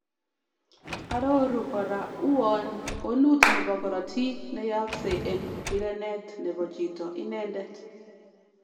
Aroruu kora uwoon konuut nebo korotik ne yaakse en rireneet nebo chito inendet